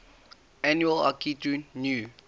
annual akitu new